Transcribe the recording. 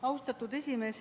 Austatud esimees!